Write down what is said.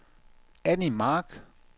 Annie Mark